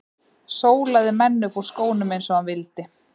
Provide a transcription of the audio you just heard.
Sólaði menn upp úr skónum eins og hann vildi.